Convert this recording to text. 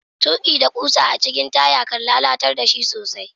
Tuki da kusa a cikin taya, kan lallatar da shi sosai.